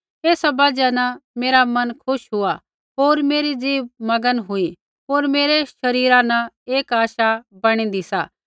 एसा बजहा न मेरा मन खुश हुआ होर मेरी ज़िभ मगन हुई होर मेरै शरीरा न एक आशा बैणी दी सा